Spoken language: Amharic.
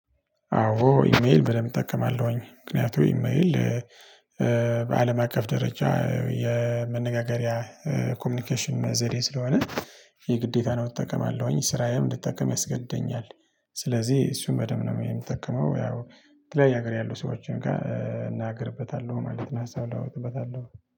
አዎ ኢሜል በደንብ እጠቀማለሁኝ ምክንያቱም ኢሜል በአለም አቀፍ ደረጃ የመነጋገሪያ ኮሚኒኬሽን ዘዴ ስለሆነ የግዴታ ነው እጠቀማለሁኝ ስራዬም እንድትጠቀም ያስገድደኛል። ስለዚህ እሱን በደንብ ነው የምጠቀመው። ያው የተለያዩ ሀገር ያሉ ሰዎችን ጋር እነጋገርበታለሁ ማለት ነው። ሀሳብ እለዋወጥበታለሁ